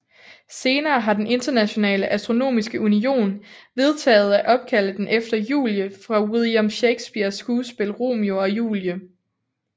Senere har den Internationale Astronomiske Union vedtaget at opkalde den efter Julie fra William Shakespeares skuespil Romeo og Julie